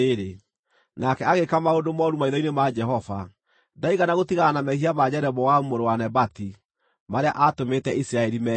Nake agĩĩka maũndũ mooru maitho-inĩ ma Jehova. Ndaigana gũtigana na mehia ma Jeroboamu mũrũ wa Nebati, marĩa aatũmĩte Isiraeli meehie.